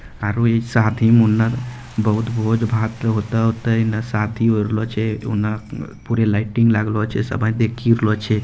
और इ शादी मुंडन बहुत भोज-भात होते-होते ने शादी करलो छै उन्ना पूरा लाइटिंग लागलो छै सभी देखी रहलो छै।